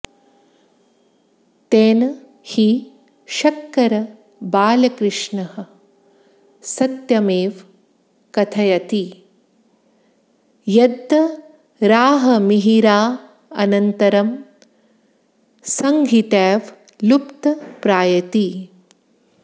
तेन हि शक्करबालकृष्णः सत्यमेव कथयति यद्वराहमिहिरानन्तरं संहितैव लुप्तप्रायेति